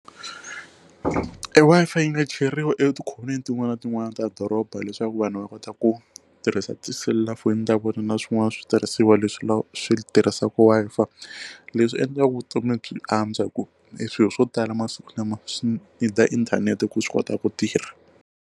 E Wi-Fi yi nga cheriwi etikhoneni tin'wana na tin'wana ta doroba leswaku vanhu va kota ku tirhisa tiselulafoni ta vona na swin'wana switirhisiwa leswi va swi tirhisaka Wi-Fi leswi endlaka vutomi byi antswa hi ku e swilo swo tala masiku lama swi need inthanete ku swi kota ku tirha.